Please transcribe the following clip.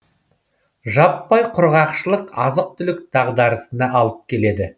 жаппай құрғақшылық азық түлік дағдарысына алып келеді